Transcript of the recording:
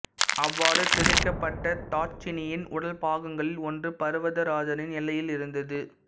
அவ்வாறு சிதைக்கப்பட்ட தாட்சாயிணியின் உடல் பாகங்களில் ஒன்று பர்வதராஜனின் எல்லையில் இருந்தது